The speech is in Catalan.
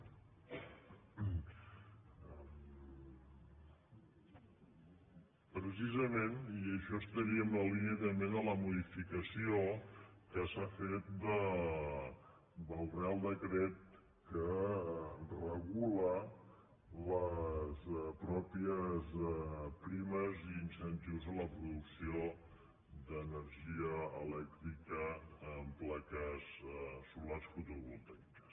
precisament i això estaria en la línia també de la modificació que s’ha fet del reial decret que regula les pròpies primes i incentius a la producció d’energia elèc·trica en plaques solars fotovoltaiques